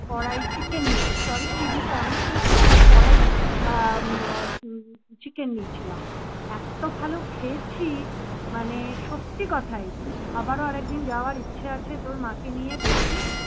কড়াই chicken নিয়েছিলাম sorry chilli paneer নিয়েছিলাম। করাই chicken নিয়েছিলাম। এত ভালো খেয়েছি মানে সত্যি কথাই আবারও আরেকদিন যাওয়ার ইচ্ছা আছে তোর মাকে নিয়ে দেখি